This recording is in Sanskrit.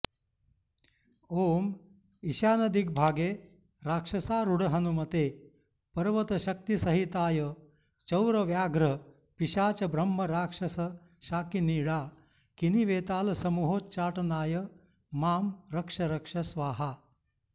ॐ ईशानदिग्भागे राक्षसारूढहनुमते पर्वतशक्तिसहिताय चौरव्याघ्र पिशाचब्रह्मराक्षसशाकिनीडाकिनीवेतालसमूहोच्चाटनाय मां रक्ष रक्ष स्वाहा